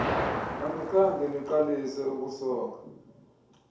anikhange niqalise ukusonga